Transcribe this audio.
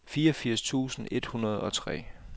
fireogfirs tusind et hundrede og tre